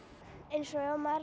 eins og ef maður